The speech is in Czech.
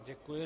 Děkuji.